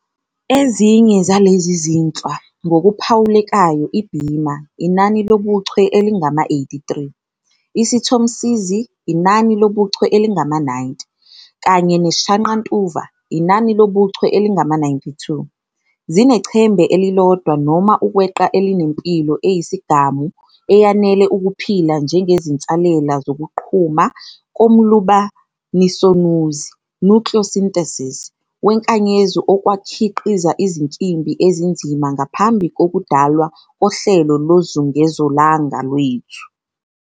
Ezinye zalezi zinhlwa, ngokuphawulekayo iBima, inani lobuchwe elingama-83, isiThomsizi, inani lobuchwe elingama-90, kanye neShaqantuva, inani lobuchwe elingama-92, zinechembe elilodwa noma ukweqa elinempilo eyisigamu eyanele ukuphila njengezinsalela zokuqhuma komlumbanisonuzi "nucleosynthesis" wenkanyezi okwakhiqiza izinkimbi ezinzima ngaphambi kokudalwa kohlelo lozungezolanga lwethu.